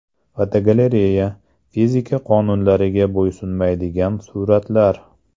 Fotogalereya: Fizika qonunlariga bo‘ysunmaydigan suratlar.